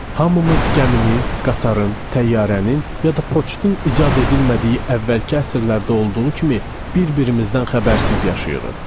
Hamımız gəminin, qatarın, təyyarənin, ya da poçtun icad edilmədiyi əvvəlki əsrlərdə olduğu kimi bir-birimizdən xəbərsiz yaşayırıq.